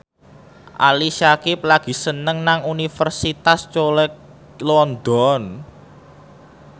Ali Syakieb lagi sekolah nang Universitas College London